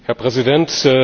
Herr Präsident!